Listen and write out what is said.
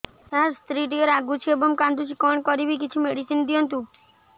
ସାର ସ୍ତ୍ରୀ ଟିକେ ରାଗୁଛି ଏବଂ କାନ୍ଦୁଛି କଣ କରିବି କିଛି ମେଡିସିନ ଦିଅନ୍ତୁ